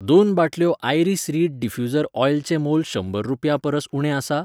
दोन बाटल्यो iris reed diffuser ऑयलचें मोल शंबर रुपयां परस उणें आसा?